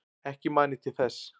Ekki man ég til þess.